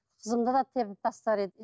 қызымды да теуіп тастар еді